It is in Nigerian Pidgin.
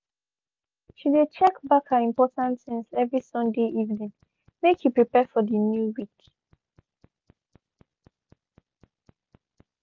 she de check back her important things every sunday evening make e prepare for de new week.